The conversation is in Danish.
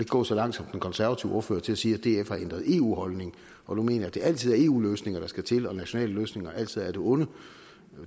gå så langt som den konservative ordfører til at sige at df har ændret eu holdning og nu mener at det altid er eu løsninger der skal til og at nationale løsninger altid er af det onde